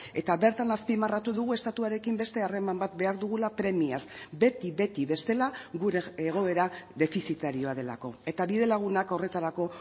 eta bertan azpimarratu dugu estatuarekin beste harreman bat behar dugula premiaz beti beti bestela gure egoera defizitarioa delako eta bide lagunak horretarako